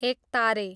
एकतारे